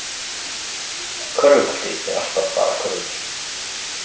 Körfubolti er alltaf bara körfubolti